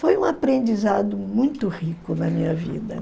Foi um aprendizado muito rico na minha vida